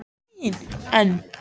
N